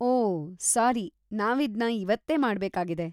ಓಹ್, sorry ನಾವಿದ್ನ ಇವತ್ತೇ ಮಾಡ್ಬೇಕಾಗಿದೆ.